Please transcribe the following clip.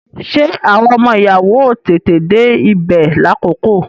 Ṣé àwọn ọmọ ìyàwó ó tètè dé ibè lákòókò?